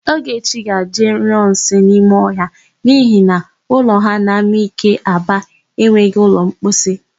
Ogechi ga-eje ịnyụ nsị n'ime ọhịa n'ihi na ụlọ ha n'Amike Aba enweghị ụlọmposi.